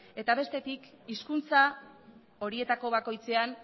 eta bestetik hizkuntza horietako bakoitzean